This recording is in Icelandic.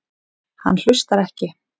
Hann hlustar ekki.